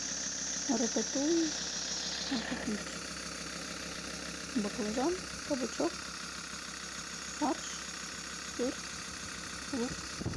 рататуй купить баклажан кабачок фарш сыр лук